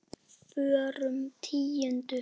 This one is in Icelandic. Fjórum tíundu?